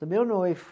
Do meu noivo.